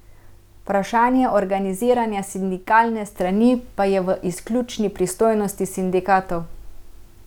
Vprašanje organiziranja sindikalne strani pa je v izključni pristojnosti sindikatov.